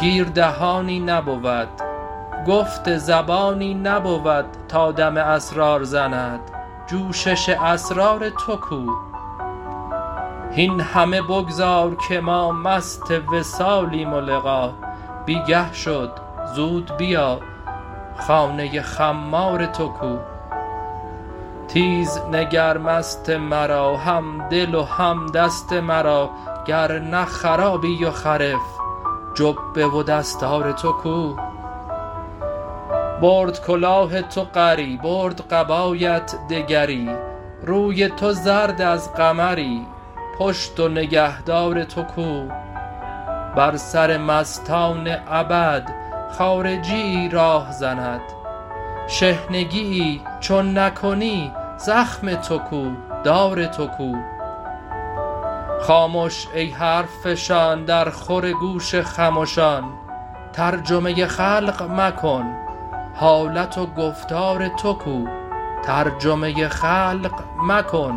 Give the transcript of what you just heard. گیر دهانی نبود گفت زبانی نبود تا دم اسرار زند جوشش اسرار تو کو هین همه بگذار که ما مست وصالیم و لقا بی گه شد زود بیا خانه خمار تو کو تیز نگر مست مرا همدل و هم دست مرا گر نه خرابی و خرف جبه و دستار تو کو برد کلاه تو غری برد قبایت دگری روی تو زرد از قمری پشت و نگهدار تو کو بر سر مستان ابد خارجیی راه زند شحنگیی چون نکنی زخم تو کو دار تو کو خامش ای حرف فشان درخور گوش خمشان ترجمه خلق مکن حالت و گفتار تو کو